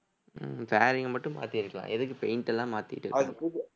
உம் fairing அ மட்டும் மாத்தியிருக்கலாம் எதுக்கு paint எல்லாம் மாத்திட்டு